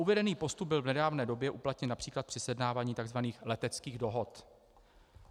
Uvedený postup byl v nedávné době uplatněn například při sjednávání takzvaných leteckých dohod.